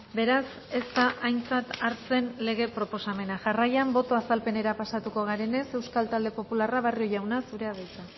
beraz ez da aintzat hartzen lege proposamena jarraian boto azalpenera pasatuko garenez euskal talde popularra barrio jauna zurea da hitza